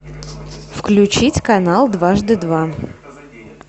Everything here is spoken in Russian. включить канал дважды два